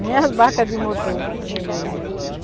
Nem as barcas de motor eu não vejo.